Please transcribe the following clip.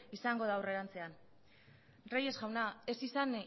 izango da aurrerantzean reyes jauna ez izan